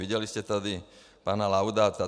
Viděli jste tady pana Laudáta.